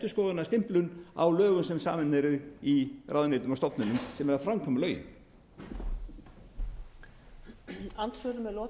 einhver endurskoðunarstimplun á lögum sem samin eru í ráðuneytum og stofnunum sem eru að framkvæma lögin